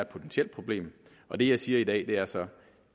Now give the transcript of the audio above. potentielt problem og det jeg siger i dag er så